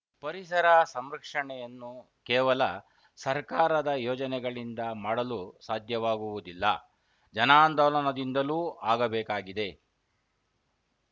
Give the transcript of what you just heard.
ಪರಿಸರ ಸಂರಕ್ಷಣೆಯನ್ನು ಕೇವಲ ಸರ್ಕಾರದ ಯೋಜನೆಗಳಿಂದ ಮಾಡಲು ಸಾಧ್ಯವಾಗುವುದಿಲ್ಲ ಜನಾಂದೋಲನದಿಂದಲೂ ಆಗಬೇಕಾಗಿದೆ